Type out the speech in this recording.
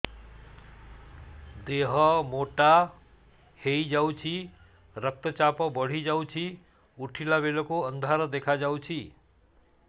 ଦେହ ମୋଟା ହେଇଯାଉଛି ରକ୍ତ ଚାପ ବଢ଼ି ଯାଉଛି ଉଠିଲା ବେଳକୁ ଅନ୍ଧାର ଦେଖା ଯାଉଛି